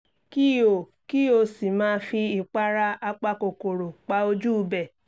kí o kí o sì máa fi ìpara apakòkòrò pa ojú ibẹ̀